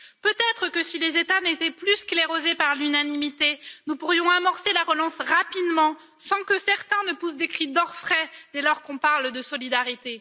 Peut être que si les États n'étaient plus sclérosés par l'unanimité, nous pourrions amorcer la relance rapidement sans que certains poussent des cris d'orfraie dès qu'on parle de solidarité.